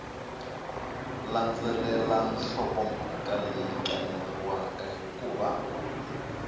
landzelela nhlokomhaka leyi kaneriwaka hikuva